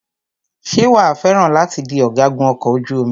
Ṣé wàá fẹ́ràn láti di ọ̀gágun ọkọ̀ ojú omi?